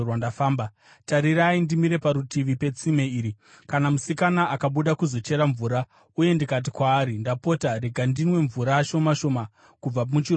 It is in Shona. Tarirai, ndimire parutivi petsime iri; kana musikana akabuda kuzochera mvura uye ndikati kwaari, “Ndapota rega ndinwe mvura shoma shoma kubva muchirongo chako,”